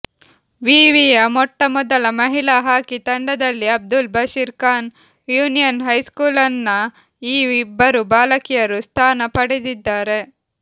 ವಿವಿಯ ಮೊಟ್ಟಮೊದಲ ಮಹಿಳಾ ಹಾಕಿ ತಂಡದಲ್ಲಿ ಅಬ್ದುಲ್ ಬಶೀರ್ ಖಾನ್ ಯೂನಿಯನ್ ಹೈಸ್ಕೂಲ್ನ ಈ ಇಬ್ಬರು ಬಾಲಕಿಯರು ಸ್ಥಾನ ಪಡೆದಿದ್ದಾರೆ